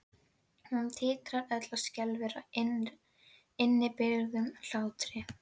Hún titrar öll og skelfur af innibyrgðum hlátri.